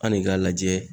An ne k'a lajɛ